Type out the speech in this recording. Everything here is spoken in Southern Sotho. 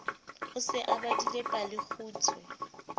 o se o badile palekgutshwe